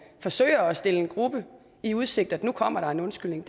forsøger at stille en gruppe i udsigt at nu kommer der en undskyldning